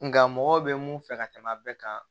Nka mɔgɔ bɛ mun fɛ ka tɛmɛ a bɛɛ kan